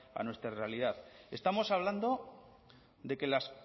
a nuestra realidad estamos hablando de que